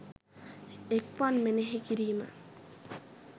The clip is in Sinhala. එක්වන් මෙනෙහි කිරීම